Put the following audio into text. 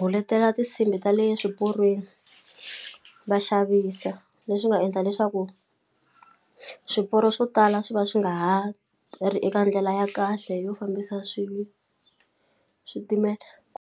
guletela tinsimbhi tale swiporweni va xavisa leswi nga endla leswaku swiporo swo tala swi va swi nga ha ri eka ndlela ya kahle yo fambisa swilo switimela .